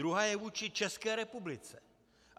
Druhá je vůči České republice.